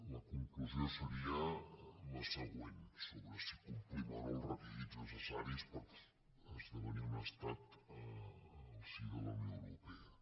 la conclusió seria la següent sobre si complim o no els requisits necessaris per esdevenir un estat al si de la unió europea